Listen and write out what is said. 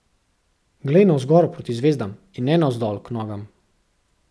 Glej navzgor proti zvezdam in ne navzdol k nogam.